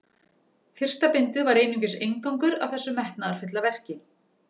Fyrsta bindið var einungis inngangur að þessu metnaðarfulla verki.